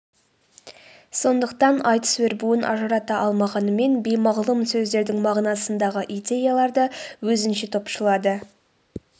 сондықтан айтыс өрбуін ажырата алмағанымен беймағлұм сөздердің мағынасындағы идеяларды өзінше топшылады